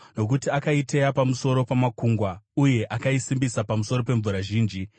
nokuti akaiteya pamusoro pamakungwa uye akaisimbisa pamusoro pemvura zhinji.